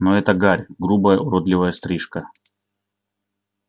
но эта гарь грубая уродливая стрижка